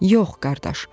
Yox, qardaş.